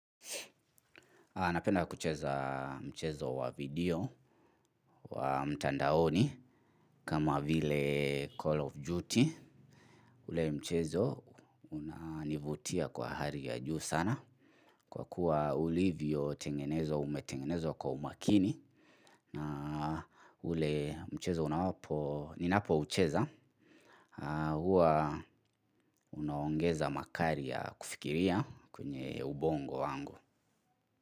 Napenda kucheza mchezo wa video wa mtandaoni kama vile Call of Duty. Ule mchezo unanivutia kwa hali ya juu sana kwa kuwa ulivyotengenezwa umetengenezwa kwa umakini na ule mchezo unawapo, ninapoucheza huwa unaongeza makali ya kufikiria kwenye ubongo wangu.